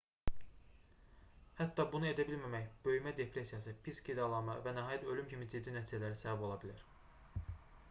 hətta bunu edə bilməmək böyümə depressiyası pis qidalanma və nəhayət ölüm kimi ciddi nəticələrə səbəb ola bilər